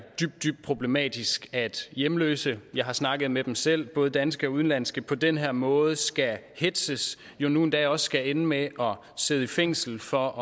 dybt problematisk at hjemløse jeg har snakket med dem selv både danske og udenlandske på den her måde skal hetzes og nu endda også skal ende med at sidde i fængsel for